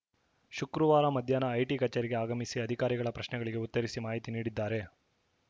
ಶುಕ್ರವಾರ ಮಧ್ಯಾಹ್ನ ಐಟಿ ಕಚೇರಿಗೆ ಆಗಮಿಸಿ ಅಧಿಕಾರಿಗಳ ಪ್ರಶ್ನೆಗಳಿಗೆ ಉತ್ತರಿಸಿ ಮಾಹಿತಿ ನೀಡಿದ್ದಾರೆ